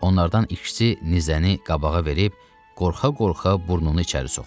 Onlardan ikisi nizəni qabağa verib qorxa-qorxa burnunu içəri soxdu.